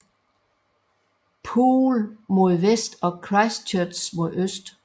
Poole mod vest og Christchurch mod øst